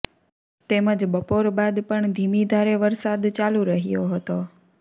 તેમજ બપોર બાદ પણ ધીમી ધારે વરસાદ ચાલું રહ્યો હતો